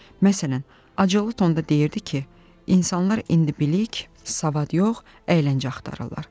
Məsələn, acılı tonda deyirdi ki, insanlar indi bilik, savad yox, əyləncə axtarırlar.